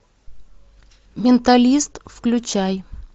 менталист включай